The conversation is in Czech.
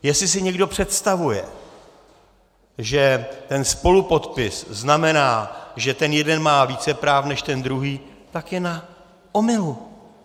Jestli si někdo představuje, že ten spolupodpis znamená, že ten jeden má více práv než ten druhý, tak je na omylu.